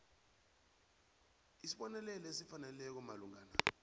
isibonelelo esifaneleko malungana